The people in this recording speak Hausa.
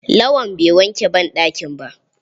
Lawan bai wanke banɗakin ba.